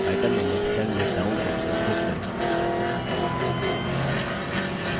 item named cell में down arrow पर click करें